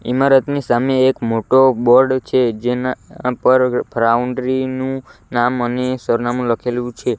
ઇમારતની સામે એક મોટો બોર્ડ છે જેના પર ફ્રાઉન્ડ્રી નું નામ અને સરનામું લખેલું છે.